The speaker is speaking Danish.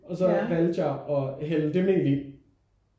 Og så valgte jeg at hælde det mel i